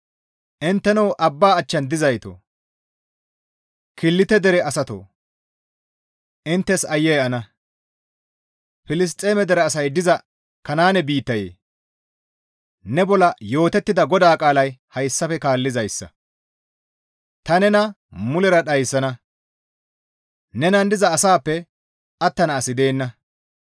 Intteno abba achchan dizaytoo! Kelite dere asatoo, inttes aayye ana! Filisxeeme dere asay diza Kanaane biittayee! ne bolla yootettida GODAA qaalay hayssafe kaallizayssa; «Ta nena mulera dhayssana; nenan diza asappe attana asi deenna.